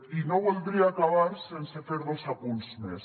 i no voldria acabar sense fer dos apunts més